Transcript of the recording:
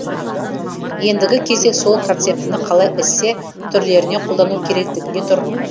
ендігі кезек сол концептіні қалай эссе түрлеріне қолдану керектігінде тұр